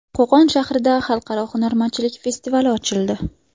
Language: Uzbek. Qo‘qon shahrida Xalqaro hunarmandchilik festivali ochildi.